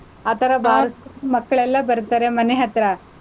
ಆ ತರಾ balls ಮಕ್ಳೆಲ್ಲಾ ಬರ್ತಾರೆ ಮನೆ ಹತ್ರ,